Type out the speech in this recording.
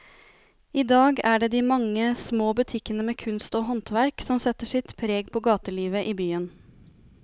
I dag er det de mange små butikkene med kunst og håndverk som setter sitt preg på gatelivet i byen.